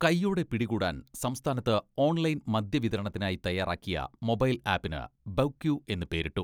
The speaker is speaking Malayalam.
കൈയ്യോടെ പിടികൂടാൻ സംസ്ഥാനത്ത് ഓൺലൈൻ മദ്യ വിതരണത്തിനായി തയ്യാറാക്കിയ മൊബൈൽ ആപ്പിന് ബെവ് ക്യൂ എന്ന് പേരിട്ടു.